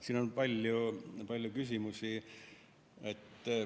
Siin oli palju küsimusi.